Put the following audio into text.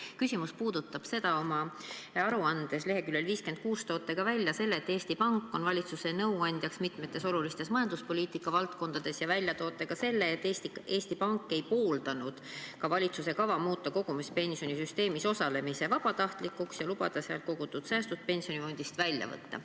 Minu küsimus puudutab seda, et oma aruande leheküljel 56 toote välja selle, et Eesti Pank on valitsuse nõuandja mitmetes olulistes majanduspoliitika valdkondades, ning te toote välja ka selle, et Eesti Pank ei pooldanud valitsuse kava muuta kogumispensionisüsteemis osalemine vabatahtlikuks ja lubada kogutud säästud pensionifondist välja võtta.